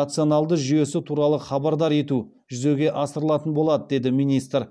рационалды жүйесі туралы хабардар ету жүзеге асырылатын болады деді министр